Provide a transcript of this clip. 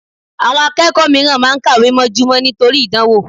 Àwọn akẹ́kọ̀ọ́ mìíràn máa ń kàwé mọ́júmọ́ nítorí ìdánwò